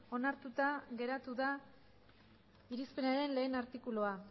onartuta geratu da irizpenaren batgarrena artikulua